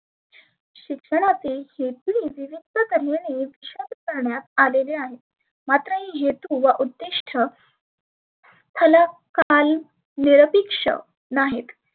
शिक्षणातील हे ही करण्यात आलेले आहे. मात्र हेतु व उद्धीष्ठ ह्याला काल विरपिक्ष नाहीत.